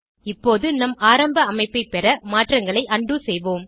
இப்போது நம் ஆரம்ப அமைப்பை பெற மாற்றங்களை உண்டோ செய்வோம்